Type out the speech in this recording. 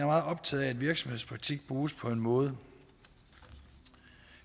meget optaget af at virksomhedspraktik bruges på en måde